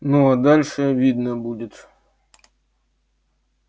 ну а дальше видно будет